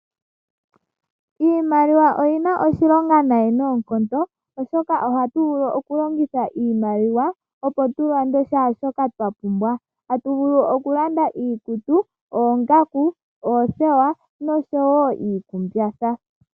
Iimaliwa oyina oshilonga nai noonkondo, oshoka ohatu vulu okulongitha iimaliwa opo tulande shaashoka twa pumbwa, tatu vulu okulanda iikutu, oongaku, oothewa noshowo iikumbatha.